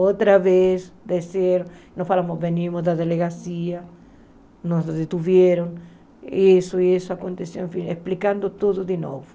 Outra vez, desceram, nós falamos, venimos da delegacia, nos detiveram, isso e isso aconteceu, enfim, explicando tudo de novo.